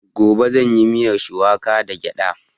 Gobe zan yi miyan shuwaka da gyada